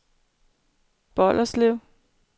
Bolderslev